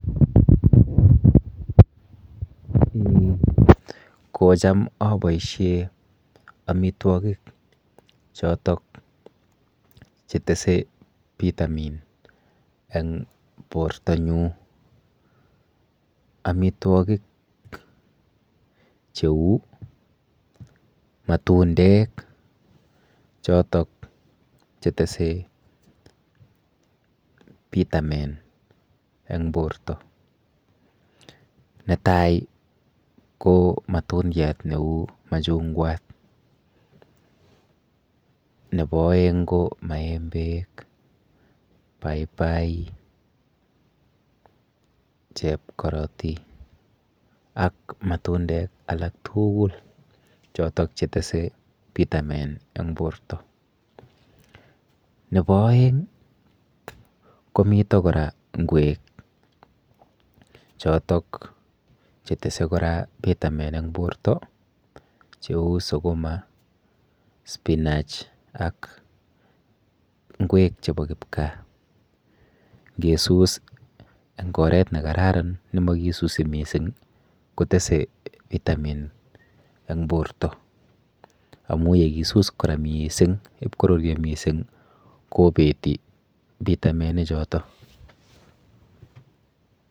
Eeh kocham aboishe amitwokik chotok chetese pitamin eng portonyu. Amitwokik cheu matundek chotok chetese pitamin eng porto. Netai ko matundiat neu machungwat nepo oeng ko maembek, paipai, chepkoroti ak matundek alak tuugul chotok chetese pitamin eng porto. Nepo oeng komito kora ng'wek chotok chetese kora pitamin eng porto cheu sukuma, spinach ak ng'wek chepo kipkaa ngesus eng oret nekararan nemakisusi mising kotese pitamin eng porto amu yekisus kora mising ipkoruryo mising kobeti pitaminichoto.